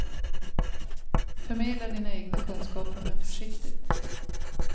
Förmedla dina egna kunskaper, men försiktigt.